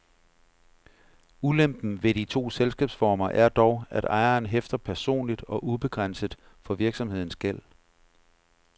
Ulempen ved de to selskabsformer er dog, at ejeren hæfter personligt og ubegrænset for virksomhedens gæld.